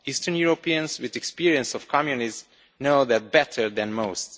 Eastern Europeans with experience of Communism know that better than most.